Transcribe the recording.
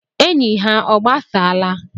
Enyi ha ọ gbasaala.